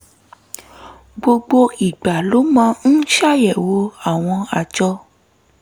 gbogbo ìgbà ló máa ń ṣàyẹ̀wò àwọn àjọ